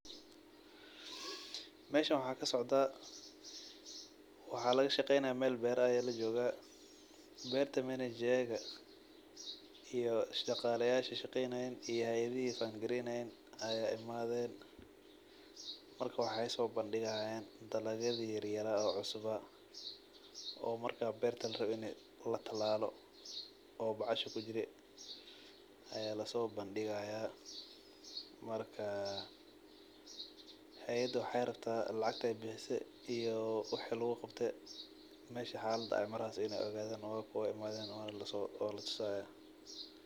Meeshan waxa kasocdaa waxa laga shageeynaya meel beeraha aya lajoga beerta manager ka iyo shagalayasha shaqeynayeen iyo hayidhihi fund gareynayeen aya imadheen marka waxa soo bandigayan dalagayadhi yaryara oo cusubaa oo marka larawe beerta inta latilalalo oo baxasha kujiro aya laso bandigaya marka hayada waxay rabta lacgtay bixise iyo wax lagu gabte mesha xalada mareyso inay ogadhan ay u imadhen oo latusaya.